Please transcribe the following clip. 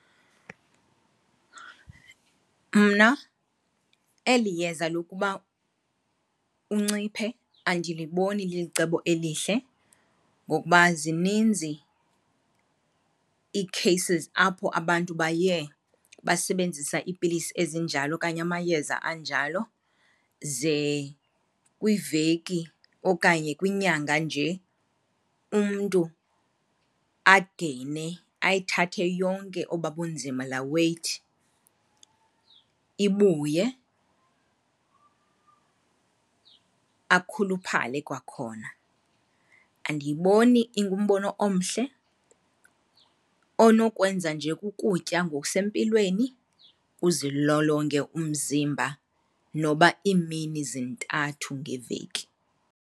Mna eli yeza lokuba unciphe andiliboni lilicebo elihle ngokuba zininzi ii-cases apho abantu baye basebenzisa iipilisi ezinjalo okanye amayeza anjalo ze kwiiveki okanye kwinyanga nje umntu ageyine, ayithathe yonke oba bunzima, laa weight ibuye, akhuluphale kwakhona. Andiyiboni ingumbono omhle, onokwenza nje kukutya ngokusempilweni, uzilolonge umziba noba iimini zintathu ngeveki.